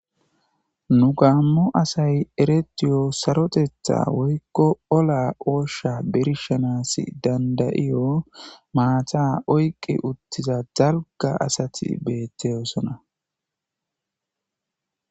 Nu gaammo asay eretiyo sarotetha woykko ola oosha birshanas dandayiyo maata oyqi uttiza zalga asati beettosona.